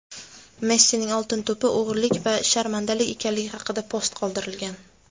Messining "Oltin to‘p"i "o‘g‘irlik va sharmandalik" ekanligi haqida post qoldirilgan.